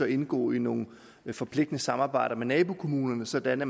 indgå i nogle forpligtende samarbejder med nabokommunerne sådan at